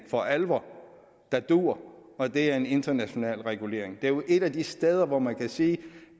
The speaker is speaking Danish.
for alvor dur og det er en international regulering det er jo et af de steder hvor man kan sige